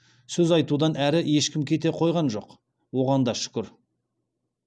сөз айтудан әрі ешкім кете қойған жоқ оған да шүкір